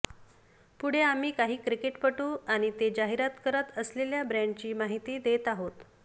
पुढे आम्ही काही क्रिकेटपटू आणि ते जाहिरात करत असलेल्या ब्रँडची माहिती देत आहोत